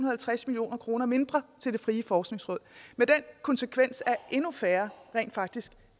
og halvtreds million kroner mindre til det frie forskningsråd med den konsekvens at endnu færre rent faktisk